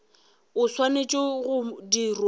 e swanetše go dirwa mo